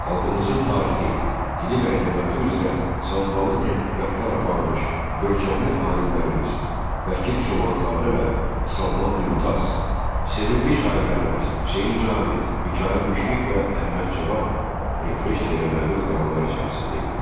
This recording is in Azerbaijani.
Xalqımızın tarixi, dili və ədəbiyyatı üzrə samballı tədqiqatlar aparmış görkəmli alimlərimiz Bəkir Çobanzadə və Salman Mümtaz, sevimli şairlərimiz Hüseyn Cavid, Mikayıl Müşfiq və Əhməd Cavad repressiyaya məruz qalanlar içərisində idilər.